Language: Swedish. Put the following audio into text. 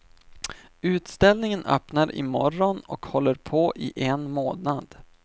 Utställningen öppnar i morgon och håller på i en månad.